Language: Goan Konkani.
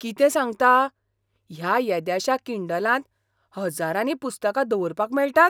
कितें सांगता? ह्या येद्याशा किंडलांत हज्जारांनी पुस्तकां दवरपाक मेळटात?